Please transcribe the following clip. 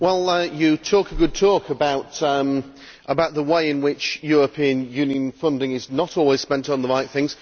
You talk a good talk about the way in which European Union funding is not always spent on the right things.